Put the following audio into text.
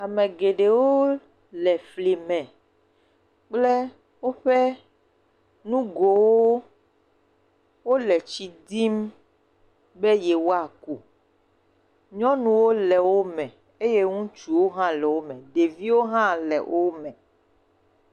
Ame geɖewo le fli me kple woƒe nu gowo, wole tsi dim, be yewoa ku, nyɔnuwo le wo me, eye ŋutsuwo hã le wo me, ɖeviwo hã le o me.